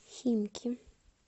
химки